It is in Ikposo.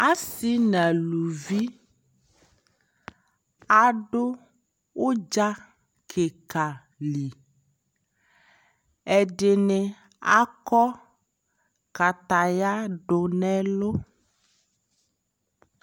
asii nʋ alʋvi adʋ ʋdza kikaali, ɛdini akɔ kataya dʋnʋ ɛlʋ